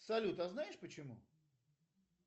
салют а знаешь почему